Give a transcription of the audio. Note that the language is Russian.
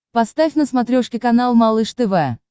поставь на смотрешке канал малыш тв